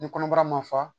Ni kɔnɔbara ma fa